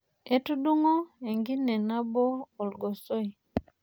Etudung'o enkine nabo olgosoi.